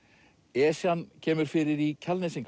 Esjan kemur fyrir í